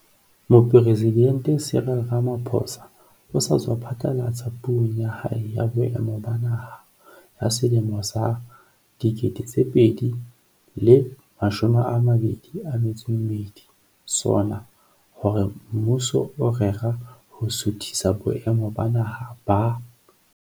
Mopresidente Cyril Ramaphosa o sa tswa phatlalatsa Puong ya hae ya Boemo ba Naha ya selemo sa 2022, SoNA, hore mmuso o rera ho suthisa boemo ba Naha ba